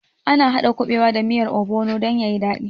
Ana haɗa kuɓewa da miyar obono dan yayi daɗi